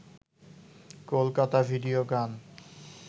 Kolkata video গান